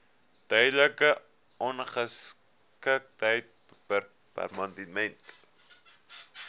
tydelike ongeskiktheid permanente